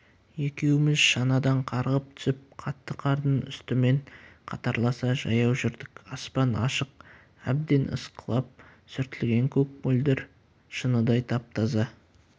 екеуміз шанадан қарғып түсіп қатты қардың үстімен қатарласа жаяу жүрдік аспан ашық әбден ысқылап сүртілген көк мөлдір шыныдай тап-таза